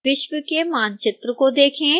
विश्व के मानचित्र को देखें